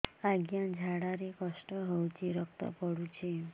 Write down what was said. ଅଜ୍ଞା ଝାଡା ରେ କଷ୍ଟ ହଉଚି ରକ୍ତ ପଡୁଛି